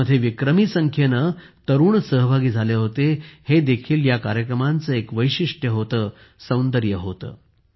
यामध्ये विक्रमी संख्येने तरुण सहभागी झाले होते हे देखील या कार्यक्रमांचे एक वैशिष्ट्य होते सौंदर्य होते